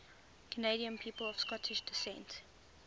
canadian people of scottish descent